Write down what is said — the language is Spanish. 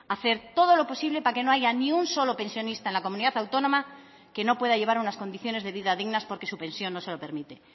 hacer todo lo posible para que no haya ni un solo pensionista en la comunidad autónoma que no pueda llevar unas condiciones de vida dignas porque su pensión no se lo permite